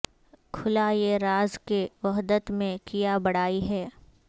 کھلا یہ راز کہ وحدت میں کیا بڑائی ہے